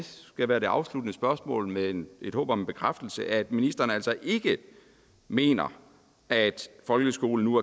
skal være det afsluttende spørgsmål med et håb om en bekræftelse at ministeren altså ikke mener at folkeskolen nu